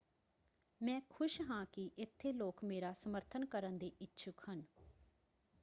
ਮੈਂ ਖੁਸ਼ ਹਾਂ ਕਿ ਇੱਥੇ ਲੋਕ ਮੇਰਾ ਸਮਰਥਨ ਕਰਨ ਦੇ ਇੱਛੁਕ ਹਨ।